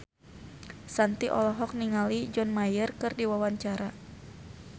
Shanti olohok ningali John Mayer keur diwawancara